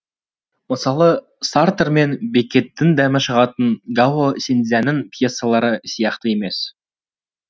мысалы сартр мен беккеттің дәмі шығатын гао синцзянның пьессалары сияқты емес